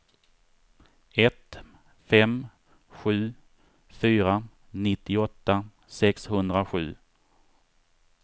ett fem sju fyra nittioåtta sexhundrasju